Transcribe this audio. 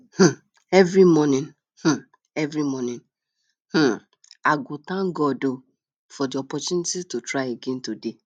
um every morning um every morning um i go thank god um for di opportunity to try again today